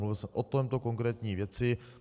Mluvil jsem o této konkrétní věci.